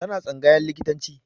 Tana tsangayan likitanci